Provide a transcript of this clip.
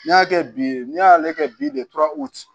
N'i y'a kɛ bi n'i y'ale kɛ bi de tora